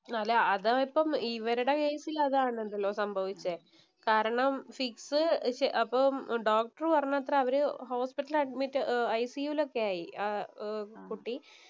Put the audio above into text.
അല്ല അതായിപ്പോ ഇവരുടെ കേസിൽ അതാണല്ലോ സംഭവിച്ചേ. കാരണം, ഫിക്സ് അപ്പോ ഡോക്ടര്‍ പറഞ്ഞത്രേ. അവര ഹോസ്പിറ്റല്‍ അഡ്മിറ്റ്‌ ഇല്‍ ICU ഒക്കെയായി ആ കുട്ടി.